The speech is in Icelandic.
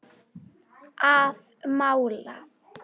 Að mála.